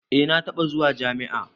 Eh na taɓa zuwa jami'a.